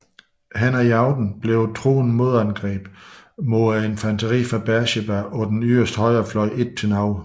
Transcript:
Hen ad aften blev et truende modangreb med infanteri fra Beersheba på den yderste højrefløj ikke til noget